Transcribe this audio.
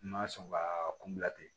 N ma sɔn ka kun bila ten